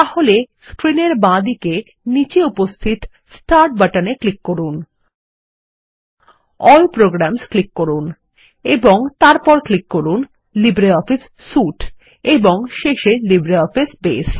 তাহলে স্ক্রিন এর বাঁদিকে নীচে উপস্থিত স্টার্ট বাটনে ক্লিক করুন এএলএল প্রোগ্রামস ক্লিক করুন এবং তারপর ক্লিক করুন লিব্রিঅফিস সুইতে এবং শেষে লিব্রিঅফিস বাসে